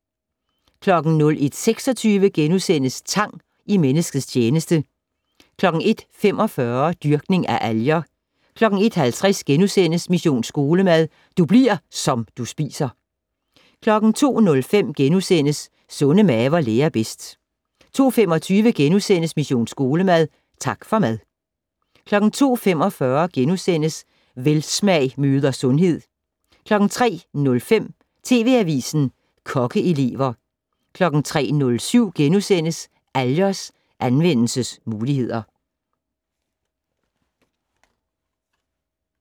01:26: Tang i menneskets tjeneste * 01:45: Dyrkning af alger 01:50: Mission Skolemad: Du bli'r som du spiser * 02:05: Sunde maver lærer bedst * 02:25: Mission Skolemad: Tak for mad * 02:45: Velsmag møder sundhed * 03:05: TV Avisen - Kokkeelever 03:07: Algers anvendelsesmuligheder *